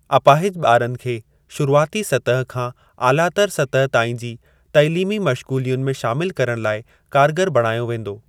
अपाहिज ॿारनि खे शुरूआती सतह खां आलातर सतह ताईं जी तइलीमी मशगुलियुनि में शामिल करण लाइ कारगर बणायो वेंदो।